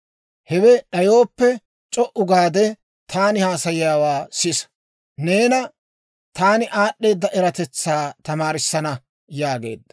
Hewe d'ayooppe, c'o"u gaade, taani haasayiyaawaa sisa. Neena taani aad'd'eeda eratetsaa tamaarissana» yaageedda.